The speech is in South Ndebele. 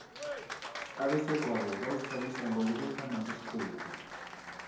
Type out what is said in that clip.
abesegwabo bazithabisa ngokubethana ngesibhuku